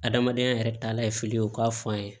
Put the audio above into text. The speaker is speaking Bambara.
Adamadenya yɛrɛ taala ye fili ye o ka f'an ye